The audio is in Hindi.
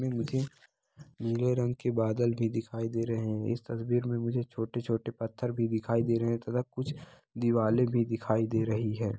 इसमें मुझे नीले रंग के बादल भी दिखाई दे रहे है इस तस्वीर में मुझे छोटे-छोटे पत्थर दिखाई दे रहे है तथा कुछ दीवाले भी दिखाई दे रही है।